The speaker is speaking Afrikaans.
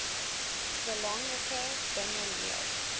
belangrike dinge leer